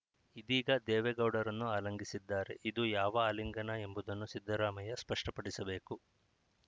ಇದೀಗ ದೇವೇಗೌಡರನ್ನು ಆಲಿಂಗಿಸಿದ್ದಾರೆ ಇದು ಯಾವ ಆಲಿಂಗನ ಎಂಬುದನ್ನು ಸಿದ್ದರಾಮಯ್ಯ ಸ್ಪಷ್ಟಪಡಿಸಬೇಕು